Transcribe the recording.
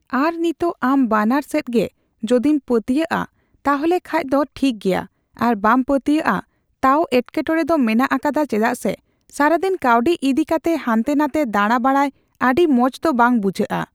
ᱟᱨ ᱱᱤᱛᱚᱜ ᱟᱢ ᱵᱟᱱᱟᱨ ᱥᱮᱫᱜᱮ ᱡᱚᱫᱤᱢ ᱯᱟᱹᱛᱭᱟᱹᱣᱟᱜᱼᱟ ᱛᱟᱦᱚᱞᱮ ᱠᱷᱟᱡ ᱫᱚ ᱴᱷᱤᱠᱜᱮᱭᱟ ᱟᱨ ᱵᱟᱢ ᱯᱟᱹᱛᱭᱟᱹᱣᱟᱜ ᱟ ᱛᱟᱹᱣ ᱮᱴᱠᱮᱴᱚᱲᱮ ᱫᱚ ᱢᱮᱱᱟᱜ ᱟᱠᱟᱫᱟ ᱪᱮᱫᱟᱜ ᱥᱮ ᱥᱟᱨᱟᱫᱤᱱ ᱠᱟᱣᱰᱤ ᱤᱫᱤᱠᱟᱛᱮᱜ ᱦᱟᱱᱛᱮ ᱱᱟᱛᱮ ᱫᱟᱬᱟ ᱵᱟᱲᱟᱭ ᱟᱹᱰᱤ ᱢᱚᱡᱫᱚ ᱵᱟᱝ ᱵᱩᱡᱷᱟᱹᱜ ᱟ ᱾